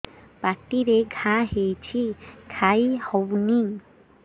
ପାଟିରେ ଘା ହେଇଛି ଖାଇ ହଉନି